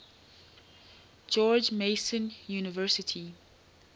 george mason university